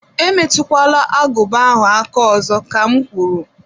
E metụkwala aguba ahụ aka ọzọ, kam gwụrụ!